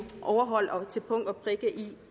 overholdt til punkt og prikke